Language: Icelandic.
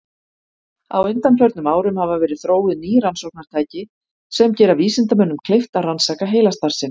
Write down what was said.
Á undanförnum árum hafa verið þróuð ný rannsóknartæki sem gera vísindamönnum kleift að rannsaka heilastarfsemi.